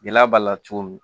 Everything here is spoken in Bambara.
Gɛlɛya b'a la cogo min